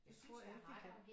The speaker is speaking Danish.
Det tror jeg ikke de kan